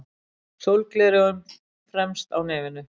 Sólgleraugun fremst á nefinu.